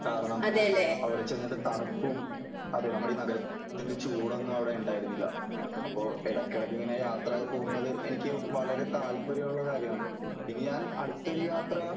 കാരണം അവിടെ ചെന്നിട്ട് തണുപ്പും അതേ നമ്മുടെ ഈ നഗരത്തിന്റെ ചൂട് ഒന്നും അവിടെ ഉണ്ടായിരുന്നില്ല . അപ്പോ ഇടയ്ക്ക് ഇടയ്ക്ക് ഇങ്ങനെ യാത്രകൾ പോകുന്നത് എനിക്ക് വളരെ താല്പര്യം ഉള്ള കാര്യമാണ് . ഇനി ഞാൻ അടുത്തൊരു യാത്ര